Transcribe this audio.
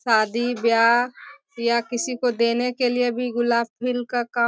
शादी-ब्याह या किसी को देने के लिए भी गुलाब का काम --